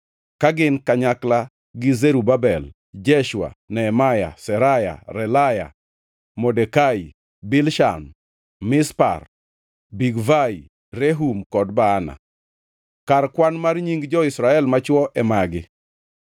ka gin kanyakla gi Zerubabel, Jeshua, Nehemia, Seraya, Relaya, Modekai, Bilshan, Mispar, Bigvai, Rehum kod Baana. Kar kwan mar nying jo-Israel machwo e magi.